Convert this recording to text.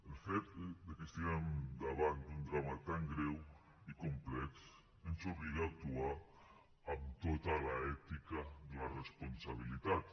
el fet de que estiguem davant d’un drama tan greu i complex ens obliga a actuar amb tota l’ètica de la responsabilitat